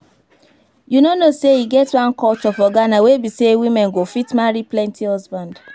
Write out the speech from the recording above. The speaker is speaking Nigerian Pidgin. You no know say e get one culture for Ghana wey be say woman go fit marry plenty husband